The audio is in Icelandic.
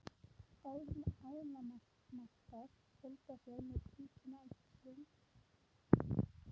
Ánamaðkar fjölga sér með tvíkynja æxlun eins og mörg dýr gera.